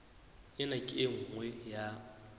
ena ke e nngwe ya